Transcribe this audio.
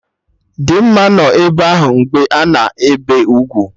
Dimma nọ ebe ahụ mgbe a na-ebe ugwu